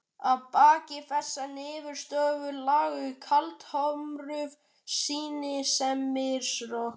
Að baki þessari niðurstöðu lágu kaldhömruð skynsemisrök.